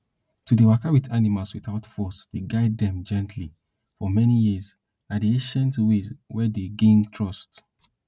to dey waka with animals without force dey guide dem gently for many years na di ancient way wey dey gain trust